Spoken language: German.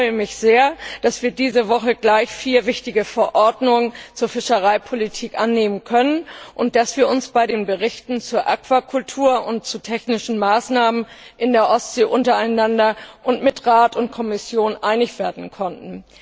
Ich freue mich sehr, dass wir diese Woche gleich vier wichtige Verordnungen zur Fischereipolitik annehmen können, und dass wir uns bei den Berichten zur Aquakultur und zu technischen Maßnahmen in der Ostsee untereinander und mit Rat und Kommission einig werden konnten.